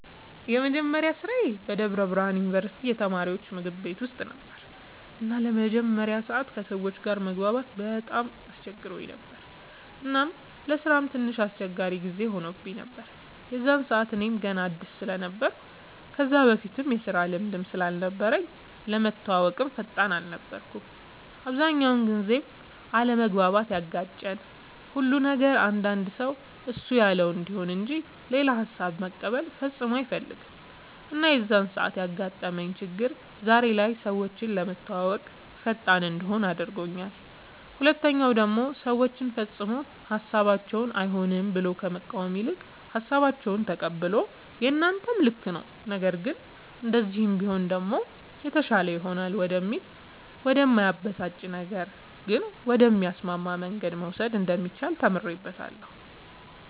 የመጀመሪያ ስራዬ በደብረ ብርሃን ዩንቨርስቲ የተማሪወች ምግብ ቤት ውስጥ ነበር እና ለመጀመሪያ ሰዓት ከሰወች ጋር መግባባት በጣም አስቸግሮኝ ነበር እናም ለስራም ትንሽ አስቸጋሪ ጊዜ ሆኖብኝ ነበር የዛን ሰዓት እኔም ገና አድስ ስለነበርኩ ከዛ በፊትም የስራ ልምድም ስላልነበረኝ ለመተወወቅም ፈጣን አልነበርኩም። አብዛኛውን ጊዜም አለመግባባት ያጋጨን ሁሉ ነበር አንዳንድ ሰው እሱ ያለው እንዲሆን እንጅ ሌላ ሃሳብ መቀበል ፈፅሞ አይፈልግም እና የዛን ሰዓት ያጋጠመኝ ችግር ዛሬ ላይ ሰወችን ለመተወወቅ ፈጣን እንድሆን አድርጎኛል ሁለተኛ ደሞ ሰወችን ፈፅሞ ሀሳባቸውን አይሆንም ብሎ ከመቃወም ይልቅ ሃሳባቸውን ተቀብሎ የናንተም ልክ ነዉ ነገር ግን እንደዚህ ቢሆን ደሞ የተሻለ ይሆናል ወደሚል ወደ እማያበሳጭ ነገር ግን ወደሚያስማማ መንገድ መውሰድ እንደሚቻል ተምሬበታለሁ።